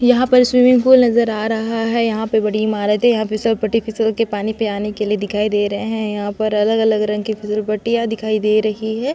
यहाँ पर swimming pool नज़र आ रहा है यहाँ पे बड़ी इमारते यहाँ पे फिसल पटी फिसल के पानी पे आने के लिए दिखाई दे रहे है यहाँ पर अलग-अलग रंग के फिसल पट्टियां दिखाई दे रही है।